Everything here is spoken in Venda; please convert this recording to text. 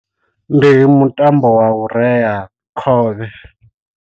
Ndi mutambo wa u rea khovhe.